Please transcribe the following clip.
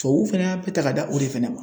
Tubabuw fana y'a bɛɛ ta ka da o de fana ma.